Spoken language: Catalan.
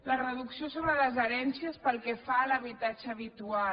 la reducció sobre les herències pel que fa a l’habitatge habitual